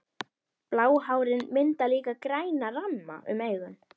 Bráhárin mynda líka græna ramma um augun.